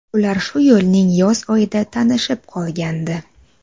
Ular shu yilning yoz oyida tanishib qolgandi.